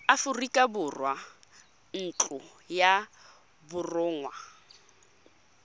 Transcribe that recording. aforika borwa ntlo ya borongwa